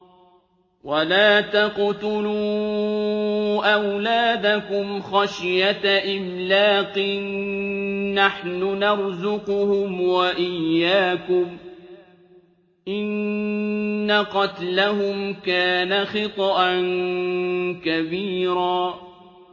وَلَا تَقْتُلُوا أَوْلَادَكُمْ خَشْيَةَ إِمْلَاقٍ ۖ نَّحْنُ نَرْزُقُهُمْ وَإِيَّاكُمْ ۚ إِنَّ قَتْلَهُمْ كَانَ خِطْئًا كَبِيرًا